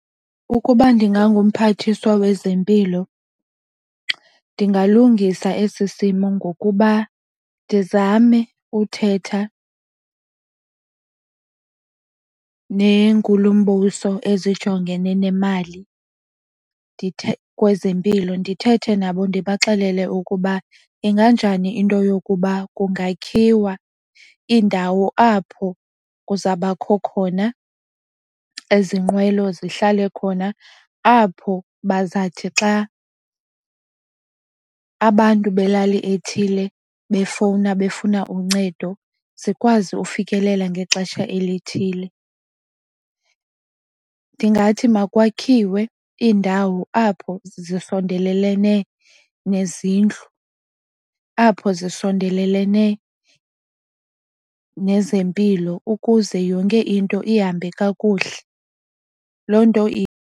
Ukuba ndinganguMphathiswa wezempilo ndingalungisa esi simo ngokuba ndizame uthetha neeNkulumbuso ezijongene nemali kwezempilo. Ndithethe nabo ndibaxelele ukuba inganjani into yokuba kungakhiwa iindawo apho kuzabakho khona ezi nqwelo zihlale khona, apho bazathi xa abantu belali ethile befowuna befuna uncedo zikwazi ufikelela ngexesha elithile. Ndingathi makwakhiwe iindawo apho zisondelelene nezindlu apho zisondelelene nezempilo ukuze yonke into ihambe kakuhle loo nto.